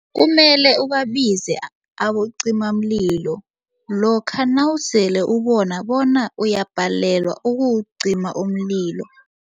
Kumele ubabize abocimamlilo lokha nawusele ubona bona uyabhalelwa ukuwucima umlilo.